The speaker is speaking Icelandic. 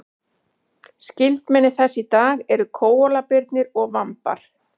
skyldmenni þess í dag eru kóalabirnir og vambar